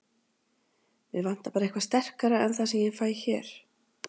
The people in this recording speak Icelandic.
Mig vantar bara eitthvað sterkara en það sem ég fæ hér.